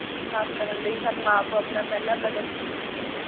ਨੂੰ ਸਾਫ਼ ਕਰਨ ਲਈ ਸਾਨੂੰ ਆਪ ਆਪਣਾ ਪਿਹਲਾ ਕਦਮ ਚੁੱਕਣਾ ਚਾਹੀਦਾ